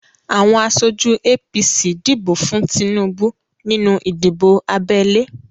Awọn aṣojú APC dìbò fún Tinubu nínú ìdìbò abẹ́lé.